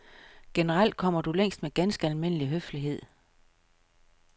Generelt kommer du længst med ganske almindelig høflighed.